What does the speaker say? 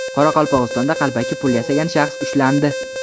Qoraqalpog‘istonda qalbaki pul yasagan shaxs ushlandi.